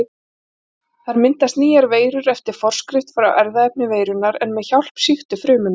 Þar myndast nýjar veirur eftir forskrift frá erfðaefni veirunnar en með hjálp sýktu frumunnar.